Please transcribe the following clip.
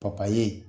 Papaye